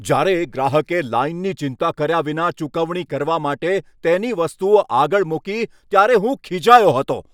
જ્યારે એક ગ્રાહકે લાઈનની ચિંતા કર્યા વિના ચૂકવણી કરવા માટે તેની વસ્તુઓ આગળ મૂકી, ત્યારે હું ખીજાયો હતો.